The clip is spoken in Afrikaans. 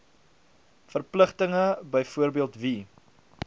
verpligtinge byvoorbeeld wie